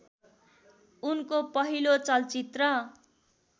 उनको पहिलो चलचित्र